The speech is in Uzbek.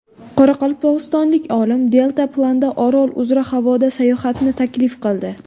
Qoraqalpog‘istonlik olim deltaplanda Orol uzra havoda sayohatni taklif qildi.